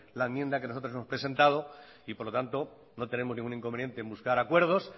la enmienda que nosotros hemos presentados y por lo tanto no tenemos ningún inconveniente en buscar acuerdos